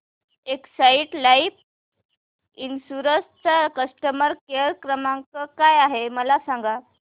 Exide life insurance चा customer care क्रमांक काय आहे मला सांगा